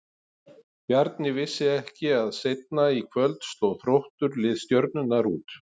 Bjarni vissi ekki að seinna í kvöld sló Þróttur lið Stjörnunnar út.